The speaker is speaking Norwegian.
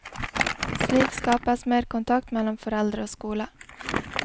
Slik skapes mer kontakt mellom foreldre og skole.